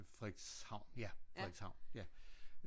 Frederikshavn ja Frederikshavn ja